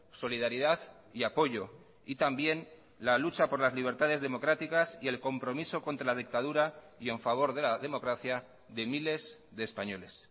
solidaridad y apoyo y también la lucha por las libertades democráticas y el compromiso contra la dictadura y en favor de la democracia de miles de españoles